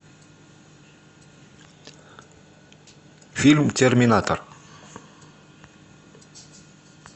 фильм терминатор